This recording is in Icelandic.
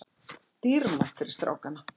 Dýrmætt fyrir strákana